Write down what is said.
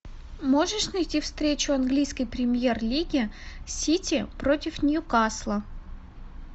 можешь найти встречу английской премьер лиги сити против ньюкасла